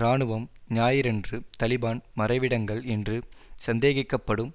இராணுவம் ஞாயிறன்று தலிபான் மறைவிடங்கள் என்று சந்தேகிக்க படும்